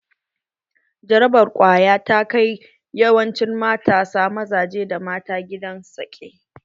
Jarabar ƙwaya ta kai yawancin matasa mazaje da mata gidan saƙe.